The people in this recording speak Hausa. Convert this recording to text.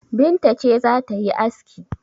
Binta ce za ta yi aski?